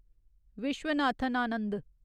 Viswanathan Anand